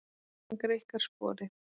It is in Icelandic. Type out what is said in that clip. Hann greikkar sporið.